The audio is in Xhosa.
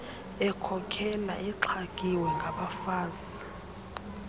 ekhokela exhagiwe ngabafazi